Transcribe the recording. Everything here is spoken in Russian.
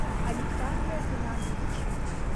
александра геннадьевича